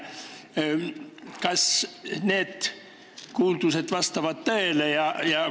Kas need kuuldused vastavad tõele?